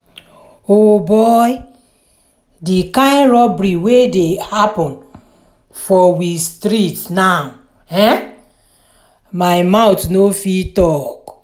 o boy! di kind robbery wey dey happen for we street now[um]my mouth no fit talk.